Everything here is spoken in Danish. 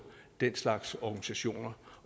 den slags organisationer